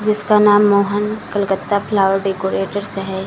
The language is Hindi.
जिसका नाम मोहन कलकत्ता फ्लावर डेकोरेटरस है।